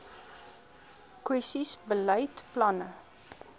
kwessies beleid planne